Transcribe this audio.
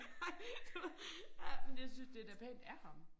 Ej du ved ja men jeg synes det da pænt af ham